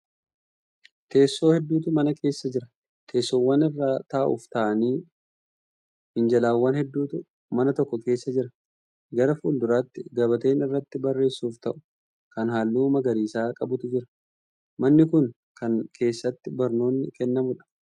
Teessoo hedduutu mana keessa jira. teessoowwan irra taa'uuf ta'anii Fi minjaalawwan hedduutu mana tokko keessa jira. gara fuulduraatti gabateen irratti barreessuuf ta'u Kan halluu magariisa qabutu Jira. manni Kuni Kan keessatti barnoonni kennamuudha.